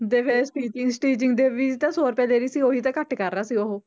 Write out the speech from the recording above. ਤੇ ਫਿਰ stitching stitching ਦੇ ਵੀ ਤਾਂ ਸੌ ਰੁਪਏ ਦੇ ਰਹੀ ਸੀ ਉਹੀ ਤਾਂ ਘੱਟ ਕਰ ਰਿਹਾ ਸੀ ਉਹ